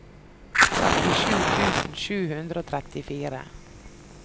trettisju tusen sju hundre og trettifire